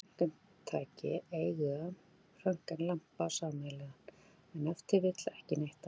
Öll röntgentæki eiga röntgenlampann sameiginlegan, en ef til vill ekki neitt annað!